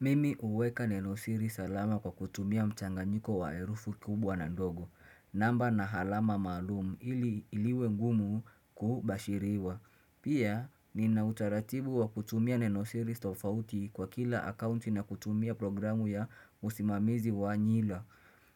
Mimi uweka Nenosiri salama kwa kutumia mchanga nyiko wa herufi kubwa na ndogo. Namba na halama malumu ili iliwe ngumu kubashiriwa. Pia ni na utaratibu wa kutumia Nenosiri tofauti kwa kila akaunti na kutumia programu ya usimamizi wa nyila